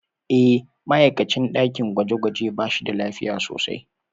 E, ma'aikacin ɗakin gwaje-gwaje ba shi da lafiya sosai.